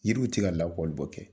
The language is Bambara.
Yiriw tɛ ka labɔlibɔ kɛ.